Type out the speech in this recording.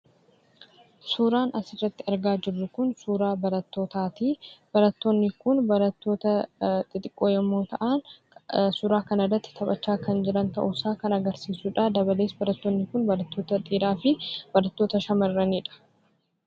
Suuraan asirratti argaa jiruu kun suuraa barattootaati. Barattoonni kun barattoota xixiqoo yemmuu ta'an, suuraa kanarratti taphachaa kan jiran ta'uusaa kan agarsiisudha. Dabalatees barattoonni kun barattoota dhiiraa fi shamarraniidha.